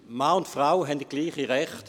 Mann und Frau haben gleiche Rechte.